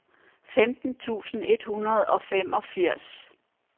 femten tusind et hundrede og femogfirs